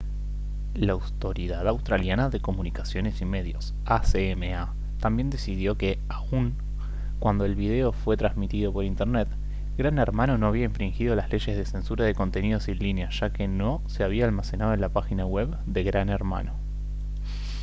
la autoridad australiana de comunicaciones y medios acma también decidió que aun cuando el video fue transmitido por internet gran hermano no había infringido las leyes de censura de contenidos en línea ya que no se había almacenado en la página web de gran hermano